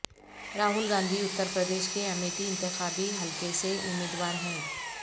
راہل گاندھی اتر پردیش کے امیٹھی انتخابی حلقے سے امیدوار ہیں